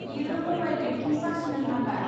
बेयो mobile banking personal number.